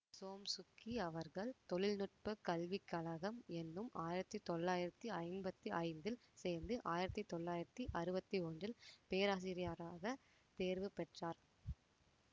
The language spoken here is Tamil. சோம்சுக்கி அவர்கள் தொழில்நுட்ப கல்விக்கழகம் என்னும் ஆயிரத்தி தொள்ளாயிரத்தி ஐம்பத்தி ஐந்தில் சேர்ந்து ஆயிரத்தி தொள்ளாயிரத்தி அறுவத்தி ஒன்றில் பேராசிரியராகத் தேர்வு பெற்றார்